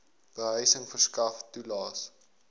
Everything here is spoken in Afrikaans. behuising verskaf toelaes